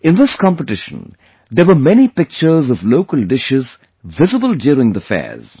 In this competition, there were many pictures of local dishes visible during the fairs